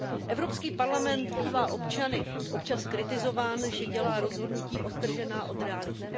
Evropský parlament bývá občany občas kritizován, že dělá rozhodnutí odtržená od reality.